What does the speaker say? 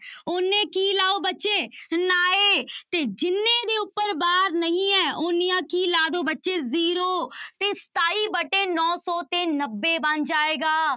ਓਨੇ ਕੀ ਲਾਓ ਬੱਚੇ ਨਾਏ ਤੇ ਜਿੰਨੇ ਦੇ ਉੱਪਰ ਬਾਰ ਨਹੀਂ ਹੈ ਓਨੀਆਂ ਕੀ ਲਾ ਦਓ ਬੱਚੇ zero ਤੇ ਸਤਾਈ ਵਟੇ ਨੋ ਸੌ ਤੇ ਨੱਬੇ ਬਣ ਜਾਏਗਾ।